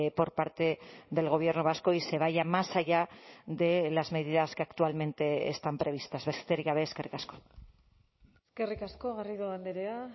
por parte del gobierno vasco y se vaya más allá de las medidas que actualmente están previstas besterik gabe eskerrik asko eskerrik asko garrido andrea